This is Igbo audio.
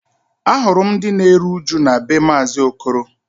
Ahụrụ m ndị na-eru uju na be maazi Okoro